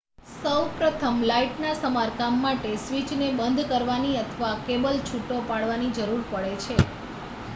સૌપ્રથમ લાઈટના સમારકામ માટે સ્વિચને બંધ કરવાની અથવા કેબલ છૂટો કરવાની જરૂર પડે છે